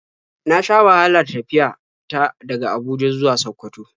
Na sha wahala tafiya ta daga Abuja zuwa Sakkwato.